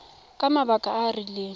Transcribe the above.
ka mabaka a a rileng